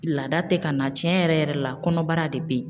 Laada tɛ ka na tiɲɛ yɛrɛ yɛrɛ la kɔnɔbara de bɛ yen